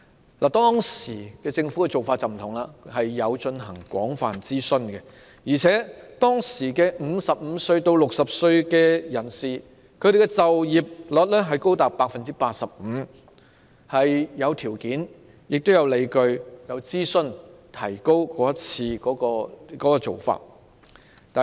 政府當時的做法有別於現時，曾進行廣泛諮詢，加上當時55至60歲人士的就業率高達 85%， 因此是有條件、有理據並經過諮詢後提高的。